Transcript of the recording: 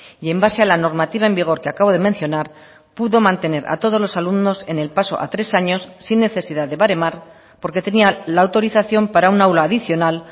y en base a la normativa en vigor que acabo de mencionar pudo mantener a todos los alumnos en el paso a tres años sin necesidad de baremar porque tenían la autorización para un aula adicional